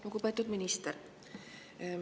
Lugupeetud minister!